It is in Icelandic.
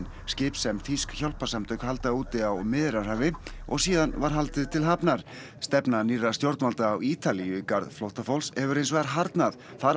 skip sem þýsk hjálparsamtök halda úti á Miðjarðarhafi og síðan var haldið til hafnar stefna nýrra stjórnvalda á Ítalíu í garð flóttafólks hefur hins vegar harðnað þar